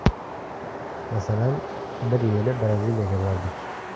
Masalan, bir yili Braziliyaga bordik.